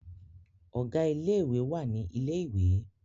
Ọ̀gá ilé ìwé wà ní ilẹ̀ ìwé